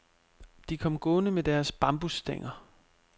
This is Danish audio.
De kom gående med deres bambusstænger.